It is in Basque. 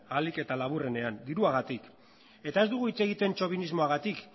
ahalik eta laburrenean diruagatik eta ez dugu hitz egiten txobinismoagatik